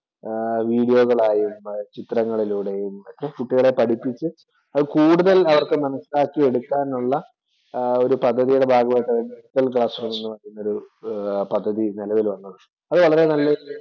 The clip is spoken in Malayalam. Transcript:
ആഹ് വീഡിയോകളായും, ചിത്രങ്ങളിലൂടെയും ഒക്കെ കുട്ടികളെ പഠിപ്പിച്ചു അത് കൂടുതൽ അവർക്ക് മനസ്സിലാക്കി എടുക്കാൻ ഉള്ള ഒരു പദ്ധതിയുടെ ഭാഗമായിട്ടാണ് ഡിജിറ്റല്‍ ക്ലാസ് റൂം എന്ന ഒരു പദ്ധതി നിലവിൽ വന്നത്. അത് വളരെ നല്ലൊരു